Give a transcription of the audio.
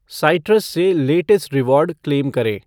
Citrus से latest reward claim करें ।